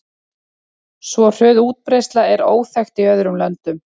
Svo hröð útbreiðsla er óþekkt í öðrum löndum.